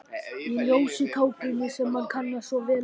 Í ljósu kápunni sem hann kannast svo vel við.